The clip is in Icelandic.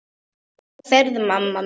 Góða ferð, mamma mín.